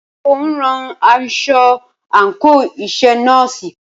Ṣé o ń rán aṣọ àńkò iṣẹ nọ́ọ̀sì?